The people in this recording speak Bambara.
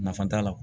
Nafa t'a la